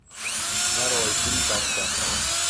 нарой фильм такса